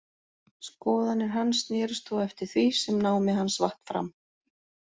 Skoðanir hans snerust þó eftir því sem námi hans vatt fram.